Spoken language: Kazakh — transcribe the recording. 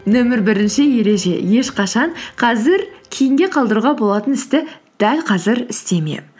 нөмір бірінші ереже ешқашан қазір кейінге қалдыруға болатын істі дәл қазір істеме